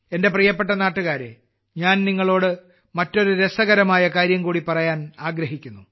എന്റെ പ്രിയപ്പെട്ട നാട്ടുകാരേ ഇന്ന് ഞാൻ നിങ്ങളോട് മറ്റൊരു രസകരമായ കാര്യം കൂടി പറയാൻ ആഗ്രഹിക്കുന്നു